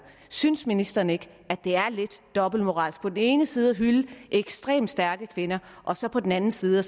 synes ministeren ikke det er lidt dobbeltmoralsk på den ene side at hylde ekstremt stærke kvinder og så på den anden side